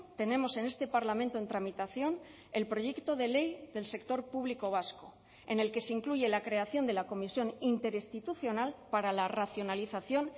tenemos en este parlamento en tramitación el proyecto de ley del sector público vasco en el que se incluye la creación de la comisión interinstitucional para la racionalización